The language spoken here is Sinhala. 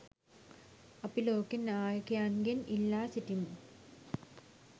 අපි ලෝක නායකයින්ගෙන් ඉල්ලා සිටිමු.